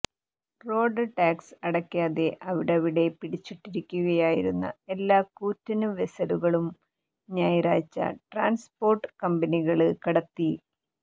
road tax അടക്കാതെ അവിടവിടെ പിടിച്ചിട്ടിരിക്കുകയായിരുന്ന എല്ലാ കൂറ്റന് വെസലുകളും ഞായറാഴ്ച ട്രാന്സ്പോര്ട്ട് കമ്പനികള് കടത്തി